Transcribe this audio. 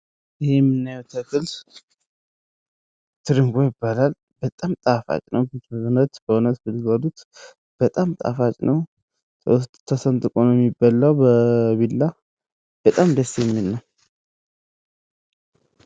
ይህ የምናየው ተክል ትርንጎ ይባላል። በጣም ጣፋጭ ነው። በእውነት በእውነት ብትበሉት በጣም ጣፋጭ ነው። ከውስጥ ተሰንጥቆ ነው የሚበላ በቢላ በጣም ደስ የሚል ነው።